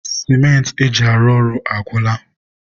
sịmentị e ji arụ ọrụ agwụla.